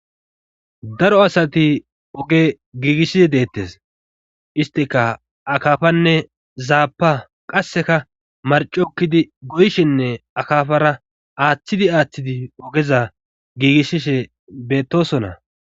Daro asati oge giigishshisi deettes istika akafanne zaapa qasseka marcokkidi goyshenne akaafara aaththidi aaththidi ogeza giigishshishe beettosona.